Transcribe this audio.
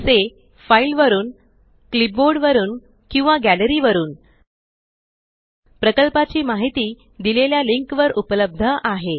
जसे फाइल वरुन क्लिपबोर्ड वरुन किंवा गॅलरी वरुन प्रकल्पाची माहिती दिलेल्या लिंकवर उपलब्ध आहे